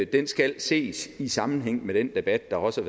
den skal ses i sammenhæng med den debat der også